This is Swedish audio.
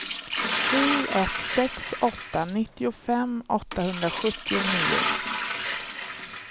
sju ett sex åtta nittiofem åttahundrasjuttionio